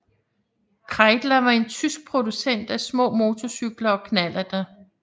Kreidler var en tysk producent af små motorcykler og knallerter